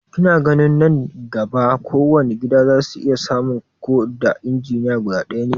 Kina ganin nan gaba kowane gida za su iya samun ko da injiniya guda ɗaya ne?